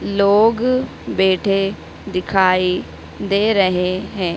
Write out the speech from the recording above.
लोग बैठे दिखाई दे रहे हैं।